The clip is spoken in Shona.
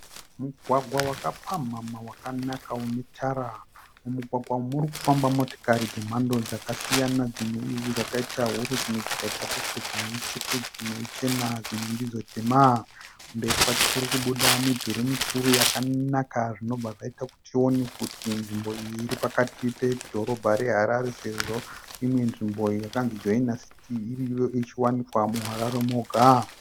Mugwagwa wakapamhamha wakanaka unetara. Mumugwagwa umu murikufamba motikari dzemhando dzakasiyana. dzimwe dzakaita huru dzimwe dzikaita duku dzimwe itsvuku dzimwe ichena dzimwe ndidzo tema. Mberi kwacho kurikubuda midhuri mikuru yakanaka zvinobva zvaita kuti tione kuti nzvimbo iyi iri pakati pedhorobha reHarare sezvo imwe nzvimbo yakanzi joinasiti iriyo ichiwanikwa muHarare moga.